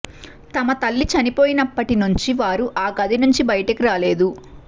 తమ తల్లి చనిపోయినప్పటి నుంచి వారు ఆ గది నుంచి బయటికి రాలేదు